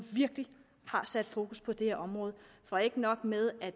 virkelig har sat fokus på det her område for ikke nok med at